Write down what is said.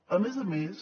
a més a més